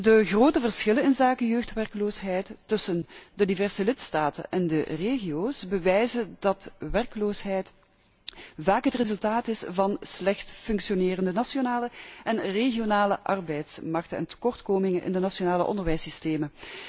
De grote verschillen in de jeugdwerkloosheid tussen de diverse lidstaten en de regio's bewijzen dat werkloosheid vaak het resultaat is van slecht functionerende nationale en regionale arbeidsmarkten en tekortkomingen in de nationale onderwijssystemen.